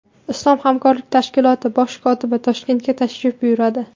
Islom hamkorlik tashkiloti bosh kotibi Toshkentga tashrif buyuradi.